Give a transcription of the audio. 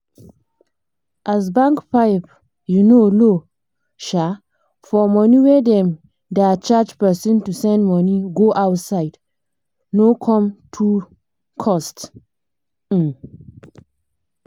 as bank pipe um low um for money wey dem da charge person to send money go outside no com too cost um